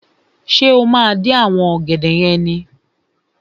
Ṣé o máa dín àwọn ọ̀gẹ̀dẹ̀ yẹn ni?